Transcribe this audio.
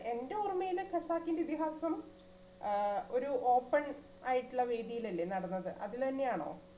എൻറെ ഓർമ്മയില് ഖസാക്കിന്റെ ഇതിഹാസം ആ ഒരു open ആയിട്ടുള്ള വേദിയിൽ അല്ലേ നടന്നത്? അതിൽ തന്നെയാണോ?